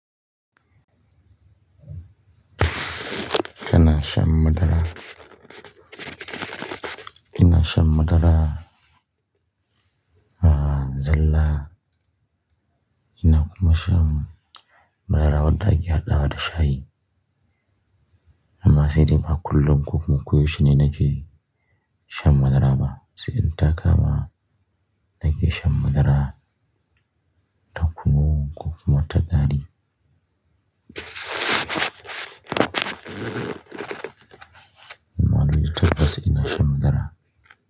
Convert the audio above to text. Kana shan madara. Ina shan madara, ah zalla. Ina kuma shan madara wadda ake haɗawa da shayi. Amma sai dai ba kullum ko kuma koyaushe ne nake shan madara ba. Sai idan ta kama nake shan madara, taku nu ko wata gari. Ammalallai tatabbas ina shan madara.